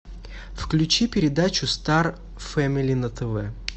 включи передачу стар фэмели на тв